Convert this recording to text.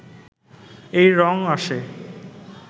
এই রঙ আসে